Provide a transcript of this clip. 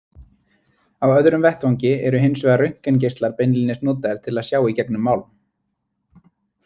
Á öðrum vettvangi eru hins vegar röntgengeislar beinlínis notaðir til að sjá í gegnum málm.